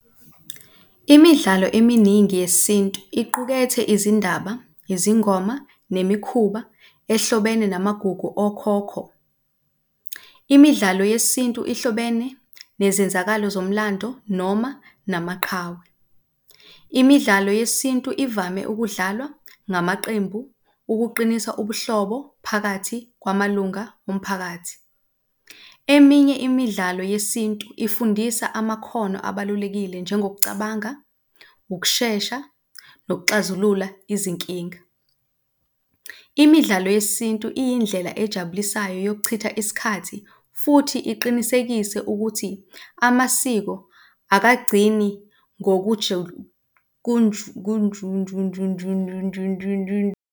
Imidlalo eminingi yesintu iqukethe izindaba, yizingoma nemikhuba ehlobene namagugu okhokho. Imidlalo yesintu ihlobene nezenzakalo zomlando noma namaqhawe. Imidlalo yesintu ivame ukudlalwa ngamaqembu ukuqinisa ubuhlobo phakathi kwamalunga omphakathi. Eminye imidlalo yesintu ifundisa amakhono abalulekile njengokucabanga, ukushesha, nokuxazulula izinkinga. Imidlalo yesintu iyindlela ejabulisayo yokuchitha isikhathi futhi iqinisekise ukuthi amasiko akagcini .